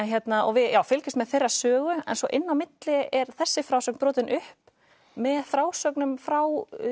við fylgjumst með þeirra sögu en svo inn á milli er þessi frásögn brotin upp með frásögnum frá